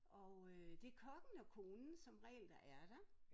Og øh det kokken og konen som regel der er der